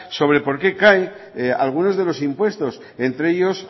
sobre por qué caen algunos de los impuestos entre ellos